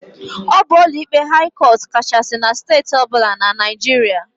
Ọ bụ ụlọikpe haị cọt kachasị na Steeti ọbụla na Naịjiria.